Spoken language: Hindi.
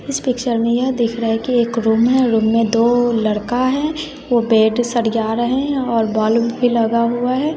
इस पिक्चर में यह दिख रहा है कि एक रूम है रूम में दो लड़का है वो बेड सरिया रहे और बोल्ब भी लगा हुआ है।